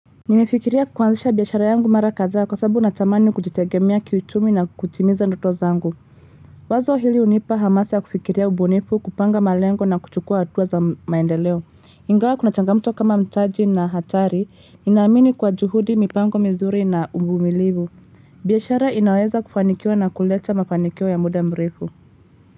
Nimefikiria kuanzisha biashara yangu mara kadhaa kwa sababu natamani kujitegemea kiichumi na kukutimiza ndoto zangu Wazo hili hunipa hamasa ya kufikiria ubunifu kupanga malengo na kuchukua hatua za maendeleo Ingawa kuna changamuto kama mtaji na hatari ninaamini kwa juhudi mipango mizuri na uvumilivu biashara inaweza kufanikiwa na kuleta mafanikio ya muda mrefu.